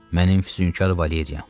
Mənim füsunkar Valeriyam.